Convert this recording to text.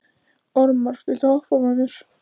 Ormar, viltu hoppa með mér?